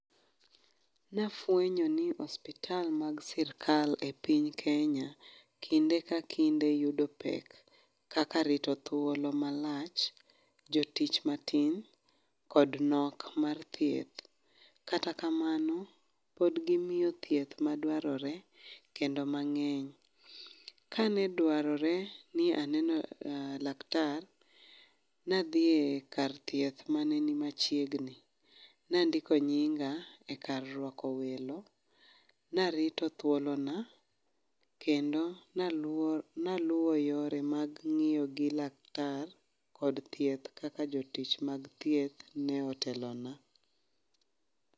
Nafwenyo ni ospital mag sirkal e piny Kenya, kinde ka kinde yudo pek. Kaka rito thuolo malach, jotich matin, kod nok mar thieth. Kata kamano, pod gimiyo thieth madwarore kendo mang'eny. Kane dwarore ni aneno um laktar, nadhi e kar thieth mane ni mchiegni. Nandiko nyinga e kar rwako welo, narito thuolo na, kendo naluo naluo yore mag ng'iyo gi laktar kod thieth kaka jotich mag thieth ne otelona